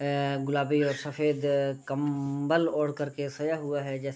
ए गुलाबी और सफ़ेद कंम्बल ओढ़ कर सोया हुआ है जैसे --